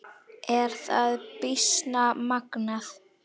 Er það býsna magnað.